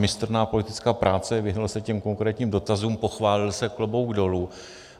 Mistrná politická práce, vyhnul se těm konkrétním dotazům, pochválil se, klobouk dolů.